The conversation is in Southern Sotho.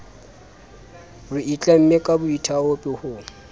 re itlamme ka boithaopi ho